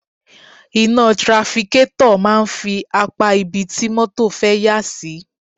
Iná trafikétọ̀ máa ń fi apá ibi tí mọ́tọ̀ fẹ́ yà sí.